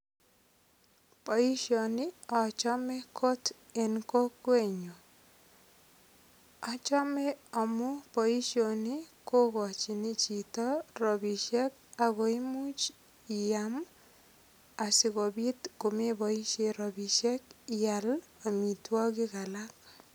Boishoni achome kot eng' kokwenyu achome amu boishoni kokochini chito robishek ako imuuch iam asikobit komeboishe robishek ial omitwokik alak